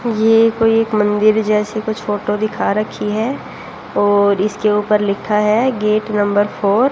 ये कोई एक मंदिर जैसे कुछ फोटो दिखा रखी है और इसके ऊपर लिखा है गेट नंबर फोर ।